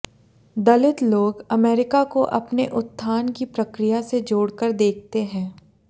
दलित लोग अमेरिका को अपने उत्थान की प्रक्रिया से जोड़कर देखते हैं